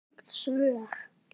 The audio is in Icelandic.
Tengd svör